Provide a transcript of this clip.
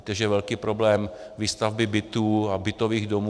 Víte, že je velký problém výstavby bytů a bytových domů.